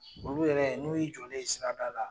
Olu yɛrɛ n'u ye i jɔlen ye sirada la.